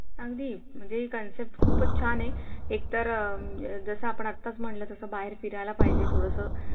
अगदी म्हणजे हि concept खूपच छान आहे. एक तर जेस आपण आत्ताच म्हंटलं कि बाहेर फिरायला पाहिजे थोडंसं